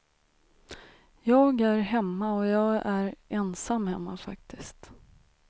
Jag är hemma och jag är ensam hemma faktiskt.